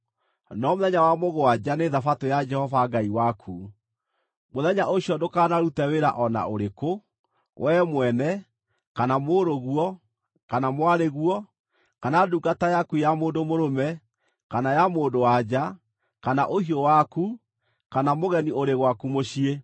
no mũthenya wa mũgwanja nĩ Thabatũ ya Jehova Ngai waku. Mũthenya ũcio ndũkanarute wĩra o na ũrĩkũ, wee mwene, kana mũrũ-guo, kana mwarĩ-guo, kana ndungata yaku ya mũndũ mũrũme, kana ya mũndũ-wa-nja, kana ũhiũ waku, kana mũgeni ũrĩ gwaku mũciĩ.